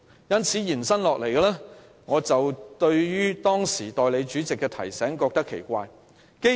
由此可見，我對於先前代理主席的提醒大惑不解。